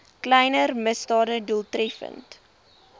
kleiner misdade doeltreffend